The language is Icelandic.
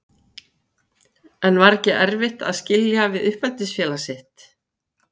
En var ekki erfitt að skilja við uppeldisfélag sitt?